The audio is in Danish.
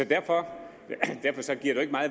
derfor